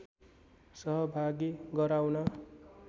सहभागी गराउन